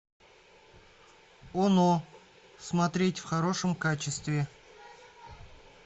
оно смотреть в хорошем качестве